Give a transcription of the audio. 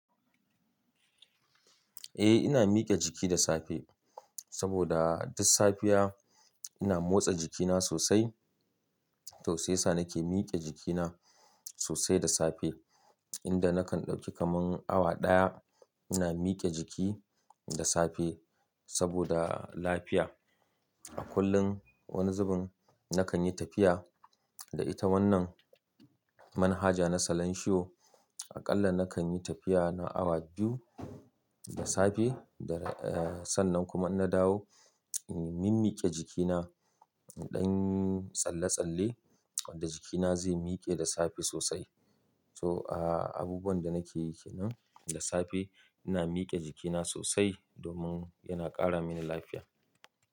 Eh ina mike jiki da safe saboda duk safiya ina motsa jikina sosai. To sai sa nake mike jikina sosai da safe inda nakan dauki kaman awa daya ina mike jiki da safe saboda lafiya. A kullum wani zubin nakan yi tafiya da ita wannan manhaja na salanshiyo. Aƙalla nakan yi tafiya na awa biyu da safe sannan kuma in na dawo, n-min mike jikina dan tsalle-tsalle wanda jikina zai mike da safe sosai. To, a, abubuwan da nake yiki nan da safe ina mike jikina sosai domin yana ƙara mini lafiya.